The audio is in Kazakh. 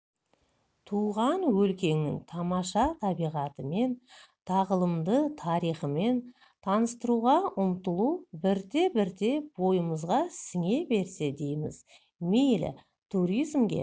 туған өлкенің тамаша табиғатымен тағылымды тарихымен таныстыруға ұмтылу бірте-бірте бойымызға сіңе берсе дейміз мейлі туризмге